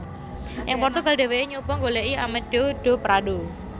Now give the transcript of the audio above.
Ing Portugal dhèwèké nyoba nggolèki Amadeu do Prado